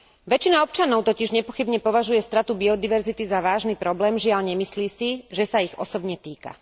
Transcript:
Väčšina občanov totiž nepochybne považuje stratu biodiverzity za vážny problém, žiaľ, nemyslí si, že sa ich osobne týka.